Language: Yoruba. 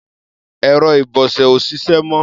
Ẹ̀rọ ìbọṣẹ ò ṣiṣẹ́ mọ́.